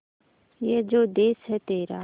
ये जो देस है तेरा